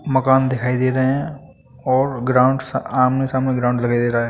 मकान दिखाई दे रहे है और ग्राउंड सा आमने सामने ग्राउंड दिखाई दे रहा है।